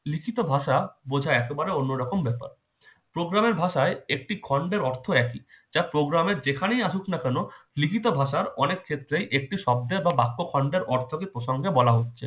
লিখিত ভাষা বোঝা একেবারে অন্যরকম ব্যাপার programme এর ভাষায় একটি খন্ডের অর্থ একই programme এর যেখানে আসুক না কেন খেতে ভাষার অনেক ক্ষেত্রে একটি শব্দে বা বাক্য খন্ডের অর্থটি প্রসঙ্গে বলা হচ্ছে